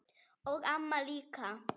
Og amma líka.